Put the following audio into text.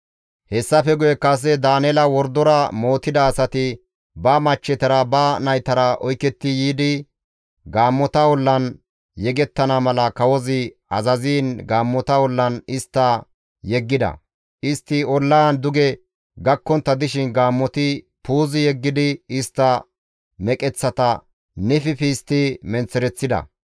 Hessafe guye kase Daaneela wordora mootida asati ba machchetara, ba naytara oyketti yiidi gaammota ollan yegettana mala kawozi azaziin gaammota ollan istta yeggida; istti ollaan duge gakkontta dishin gaammoti puuzi yeggidi istta meqeththata nififi histti menththereththida.